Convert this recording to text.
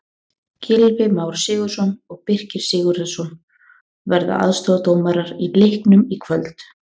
Gylfi Már Sigurðsson og Birkir Sigurðarson verða aðstoðardómarar í leiknum í kvöld.